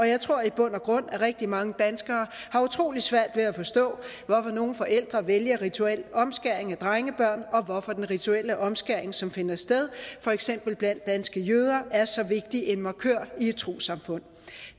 jeg tror i bund og grund at rigtig mange danskere har utrolig svært ved at forstå hvorfor nogle forældre vælger rituel omskæring af drengebørn og hvorfor den rituelle omskæring som finder sted for eksempel blandt danske jøder er så vigtig en markør i et trossamfund